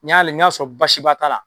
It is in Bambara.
N'i y'a lajɛ n'i y'a sɔrɔ baasiba t'a la